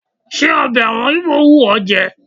Ṣé ọbẹ̀ àwọn Íbò wù ẹ́ jẹ?